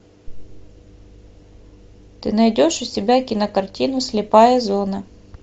ты найдешь у себя кинокартину слепая зона